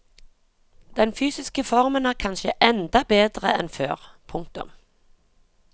Den fysiske formen er kanskje enda bedre enn før. punktum